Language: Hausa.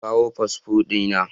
Na kawo fasfo dina